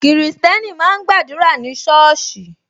Kristẹni máa ń gba àdúrà ní soosi